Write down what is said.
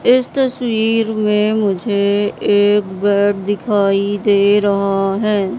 इस तस्वीर में मुझे एक बेड दिखाई दे रहा है।